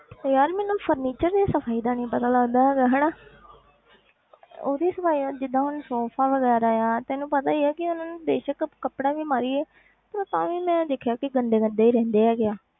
ਤੇ ਯਾਰ ਮੈਨੂੰ furniture ਦੀ ਸਫ਼ਾਈ ਦਾ ਨੀ ਪਤਾ ਲੱਗਦਾ ਹੈਗਾ ਹਨਾ ਉਹਦੀ ਸਫ਼ਾਈ ਜਿੱਦਾਂ ਹੁਣ ਸੋਫ਼ਾ ਵਗ਼ੈਰਾ ਆ ਤੈਨੂੰ ਪਤਾ ਹੀ ਹੈ ਕਿ ਹੁਣ ਬੇਸ਼ਕ ਕੱਪੜਾ ਵੀ ਮਾਰੀਏ ਪਰ ਤਾਂ ਵੀ ਮੈਂ ਦੇਖਿਆ ਕਿ ਗੰਦੇ ਗੰਦੇ ਹੀ ਰਹਿੰਦੇ ਹੈਗੇ ਆ